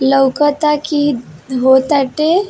लउकता कि हो ताटे।